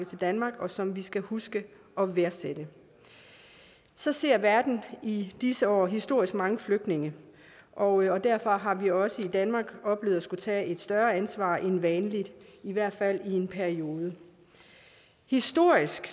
til danmark og som vi skal huske at værdsætte så ser verden i disse år historisk mange flygtninge og derfor har vi også i danmark oplevet at skulle tage et større ansvar end vanligt i hvert fald i en periode historisk